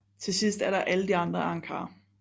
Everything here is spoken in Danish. Til sidst er der alle de andre arrancar